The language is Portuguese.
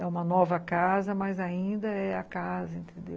É uma nova casa, mas ainda é a casa, entendeu?